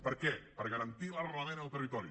per què per garantir l’arrelament en el territori